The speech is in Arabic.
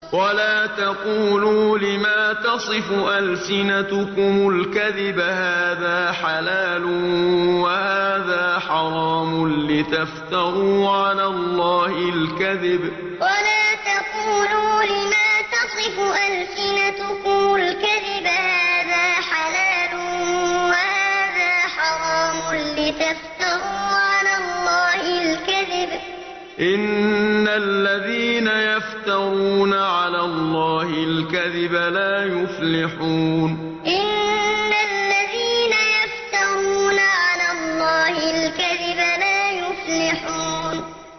وَلَا تَقُولُوا لِمَا تَصِفُ أَلْسِنَتُكُمُ الْكَذِبَ هَٰذَا حَلَالٌ وَهَٰذَا حَرَامٌ لِّتَفْتَرُوا عَلَى اللَّهِ الْكَذِبَ ۚ إِنَّ الَّذِينَ يَفْتَرُونَ عَلَى اللَّهِ الْكَذِبَ لَا يُفْلِحُونَ وَلَا تَقُولُوا لِمَا تَصِفُ أَلْسِنَتُكُمُ الْكَذِبَ هَٰذَا حَلَالٌ وَهَٰذَا حَرَامٌ لِّتَفْتَرُوا عَلَى اللَّهِ الْكَذِبَ ۚ إِنَّ الَّذِينَ يَفْتَرُونَ عَلَى اللَّهِ الْكَذِبَ لَا يُفْلِحُونَ